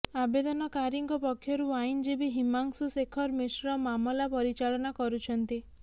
ଆବେଦନକାରୀଙ୍କ ପକ୍ଷରୁ ଆଇନଜୀବୀ ହିମାଂଶୁ ଶେଖର ମିଶ୍ର ମାମଲା ପରିଚାଳନା କରୁଛନ୍ତି